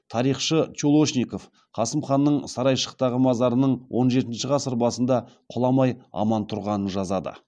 тарихшы чулошников қасым ханның сарайшықтағы мазарының он жетінші ғасыр басында кұламай аман тұрғанын жазады